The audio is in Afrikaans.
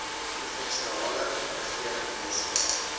provinsiale regering weskaap